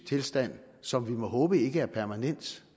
tilstand som vi må håbe ikke er permanent